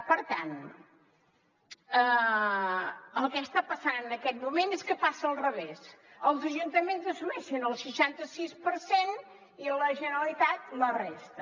per tant el que està passant en aquest moment és que passa al revés els ajuntaments assumeixen el seixanta sis per cent i la generalitat la resta